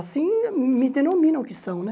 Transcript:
Assim me denominam que são, né?